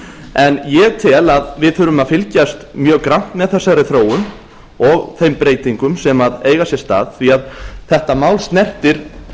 en ég tel að við þurfum að fylgjast mjög grannt með þessari þróun og þeim breytingum sem eru að eiga sér stað því að þetta mál snertir